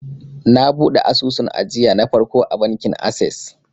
na buɗe asusun ajiya na farko a bankin ases